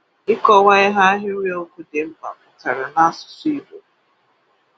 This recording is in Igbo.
Ịkọwa ihe ahịrịokwu dị mkpa pụtara n’asụsụ́ Ìgbò.